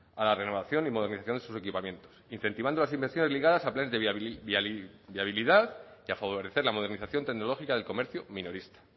a la renovación y modernización de sus equipamientos incentivando las inversiones ligadas a planes de viabilidad y a favorecer la modernización tecnológica del comercio minorista